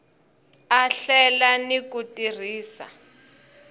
a hlela ni ku tirhisa